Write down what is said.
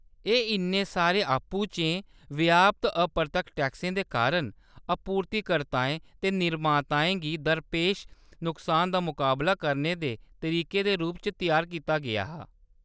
एह्‌‌ इन्ने सारे आपूं-चें व्याप्त अपरतक्ख टैक्सें दे कारण आपूर्तिकर्ताएं ते निर्माताएं गी दरपेश नुकसान दा मकाबला करने दे तरीके दे रूप च त्यार कीता गेआ हा।